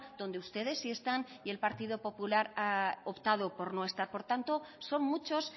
donde ustedes si están y el partido popular ha optado por no estar por tanto son muchos